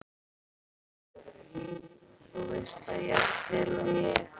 Þú veist það jafnvel og ég.